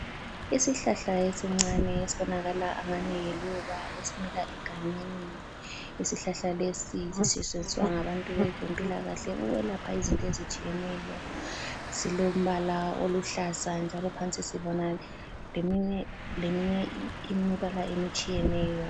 Isihlahla esincane esibonakala angani liluba esimila egangeni. Isihlahla lesi yiso esisetshenziwa ngabantu bezempilakahle ukwelapha izinto ezitshiyeneyo, silombala oluhlaza njalo phansi sibona leminye imibala emitshiyeneyo.